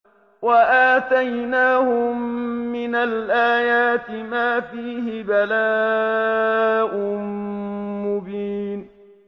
وَآتَيْنَاهُم مِّنَ الْآيَاتِ مَا فِيهِ بَلَاءٌ مُّبِينٌ